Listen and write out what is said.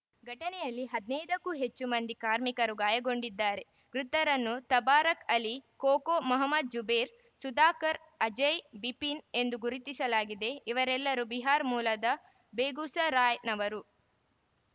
ಘಟನೆಯಲ್ಲಿ ಹದಿನೈದಕ್ಕೂ ಹೆಚ್ಚು ಮಂದಿ ಕಾರ್ಮಿಕರು ಗಾಯಗೊಂಡಿದ್ದಾರೆ ಮೃತರನ್ನು ತಬಾರಕ್‌ ಅಲಿ ಕೋಕೋ ಮಹಮದ್‌ ಜುಬೇರ್‌ ಸುಧಾಕರ್‌ ಅಜಯ್‌ ಬಿಪಿನ್‌ ಎಂದು ಗುರುತಿಸಲಾಗಿದೆ ಇವರೆಲ್ಲರೂ ಬಿಹಾರ್ ಮೂಲದ ಬೇಗುಸರಾಯ್‌ನವರು